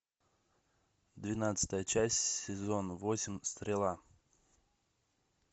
двенадцатая часть сезон восемь стрела